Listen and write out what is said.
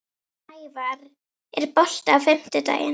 Snævarr, er bolti á fimmtudaginn?